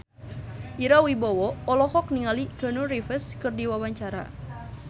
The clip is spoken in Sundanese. Ira Wibowo olohok ningali Keanu Reeves keur diwawancara